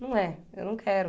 Não é. Eu não quero.